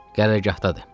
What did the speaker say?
Qərargahdadır.